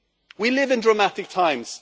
We live in dramatic times.